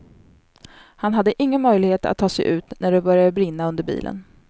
Han hade ingen möjlighet att ta sig ut när det började brinna under bilen.